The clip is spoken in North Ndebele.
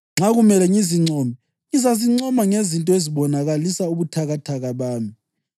Nxa kumele ngizincome, ngizazincoma ngezinto ezibonakalisa ubuthakathaka bami.